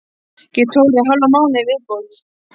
Get tórað í hálfan mánuð í viðbót.